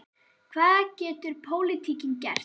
Hvað getur pólitíkin gert?